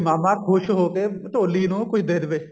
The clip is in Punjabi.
ਵੀ ਮਾਮਾ ਖੁਸ਼ ਹੋਕੇ ਢੋਲੀ ਨੂੰ ਕੁੱਛ ਦੇ ਦਵੇ